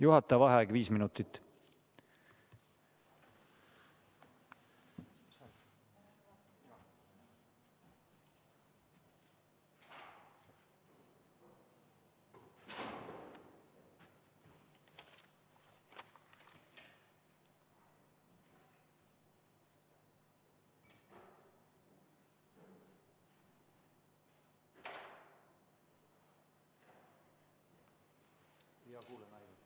Juhataja vaheaeg viis minutit.